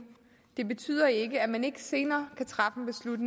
det betyder ikke at man ikke senere kan træffe